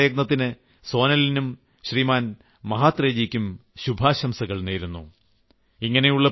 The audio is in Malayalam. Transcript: ഞാൻ ഈ നൂതന പ്രയത്നത്തിന് സോനലിനും ശ്രീമാൻ മഹാത്രേജിക്കും ശുഭാശംസകൾ നേരുന്നു